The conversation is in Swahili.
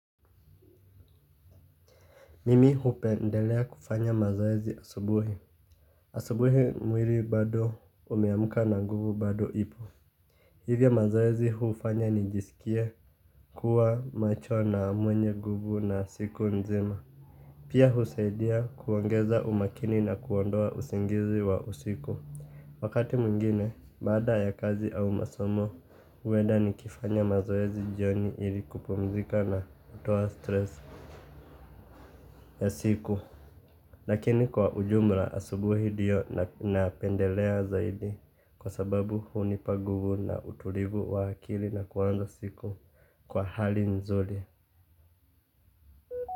Mimi hupendelea kufanya mazoezi asubuhi. Asubuhi mwiri bado umeamka na nguvu bado ipo. Hivya mazoezi hufanya nijisikie kuwa macho na mwenye nguvu na siku nzima. Pia husaidia kuongeza umakini na kuondoa usingizi wa usiku. Wakati mwingine, baada ya kazi au masomo. Uenda nikifanya mazoezi jioni ili kupumzika na kutoa stress ya siku. Lakini, kwa ujumla, asubuhi ndio napendelea zaidi kwa sababu hunipa nguvu na utulivu wa akili na kuwa na siku kwa hali nzuli.